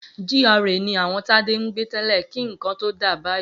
GRA ni àwọn Tádé ń gbé tẹ́lẹ̀ kí nǹkan tó dà báyìí.